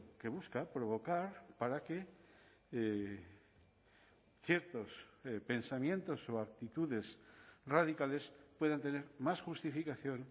que busca provocar para que ciertos pensamientos o actitudes radicales puedan tener más justificación